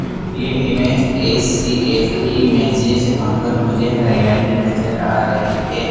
ये image S C S की image है जहां पर मुझे हरियाली नजर आ रही है।